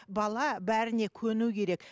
бала бәріне көну керек